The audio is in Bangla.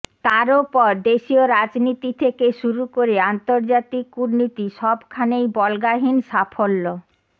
তারওপর দেশিয় রাজনীতি থেকে শুরু করে আন্তর্জাতিক কূটনীতি সবখানেই বল্গাহীন সাফল্য